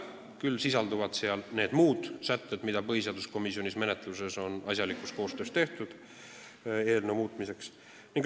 Küll sisalduvad seal need muud sätted, mis on põhiseaduskomisjoni menetluses asjaliku koostöö tulemusena eelnõu muutmiseks tehtud.